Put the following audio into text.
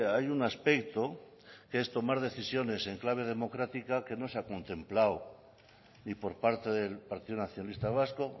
hay un aspecto que es tomar decisiones en clave democrática que no se ha contemplado ni por parte del partido nacionalista vasco